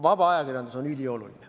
Vaba ajakirjandus on ülioluline.